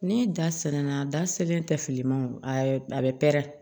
Ni da ser'an na da selen tɛ fili ma o bɛ pɛrɛn